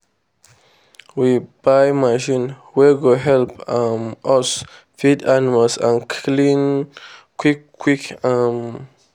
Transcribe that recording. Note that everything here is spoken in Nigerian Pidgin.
we buy machine wey go help um us feed animals and clean quick quick. um